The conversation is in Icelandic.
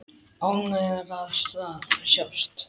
Ánægðar að sjást.